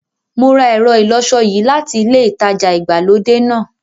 Mo ra ẹ̀rọ ìlọṣọ yìí láti ilẹ ìtajà ìgbàlódé náà.